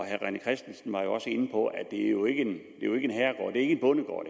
herre rené christensen var også inde på at det jo ikke er en bondegård